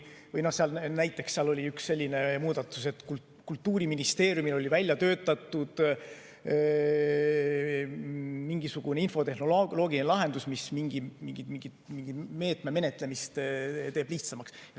Näiteks seal oli üks selline muudatus, et Kultuuriministeeriumil oli välja töötatud mingisugune infotehnoloogiline lahendus, mis mingi meetme menetlemist teeb lihtsamaks.